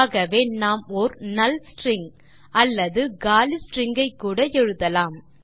ஆகவே நாம் ஒர் நல் ஸ்ட்ரிங் அல்லது காலி ஸ்ட்ரிங் கூட எழுதலாம்